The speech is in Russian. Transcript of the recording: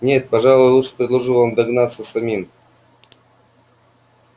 нет пожалуй лучше предложу вам догадаться самим